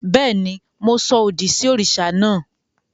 Béèni, Mo sọ òdì sí òrìṣà naa